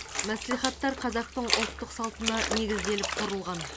мәслихаттар қазақтың ұлттық салтына негізделіп құрылған